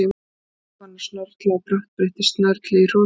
Gerður var farin að snörla og brátt breyttist snörlið í hrotur.